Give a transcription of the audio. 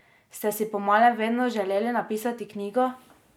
Ste si po malem vedno želeli napisati knjigo?